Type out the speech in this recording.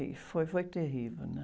E foi, foi terrível, né?